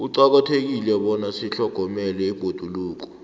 kuqakathekile bona sitlhogomele ibhoduluko